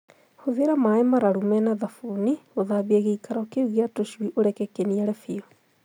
Hũthĩra maaĩ mararu me na thabuni gũthambia gĩikaro kĩu gĩa tũcui ũreke kĩniare biũ.